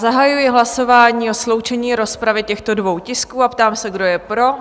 Zahajuji hlasování o sloučení rozpravy těchto dvou tisků a ptám se, kdo je pro?